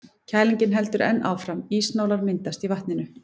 Kælingin heldur enn áfram, ísnálar myndast í vatninu.